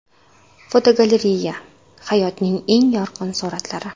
Fotogalereya: Hayotning eng yorqin suratlari.